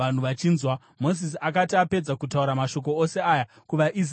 Mozisi akati apedza kutaura mashoko ose aya kuvaIsraeri vose,